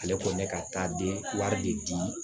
Ale ko ne ka taa di wari de di